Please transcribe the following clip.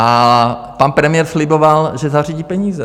A pan premiér sliboval, že zařídí peníze.